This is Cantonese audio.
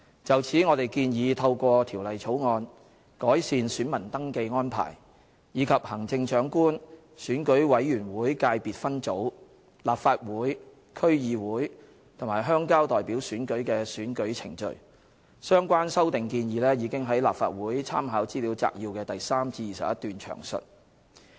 就此，我們建議透過《條例草案》，改善選民登記安排，以及行政長官、選舉委員會界別分組、立法會、區議會及鄉郊代表選舉的選舉程序，相關修訂建議已於立法會參考資料摘要的第3至21段詳述。